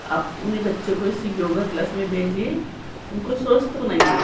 अपने बच्चों को इसी योगा क्लास में भेजिए उनको स्वस्थ बनाए।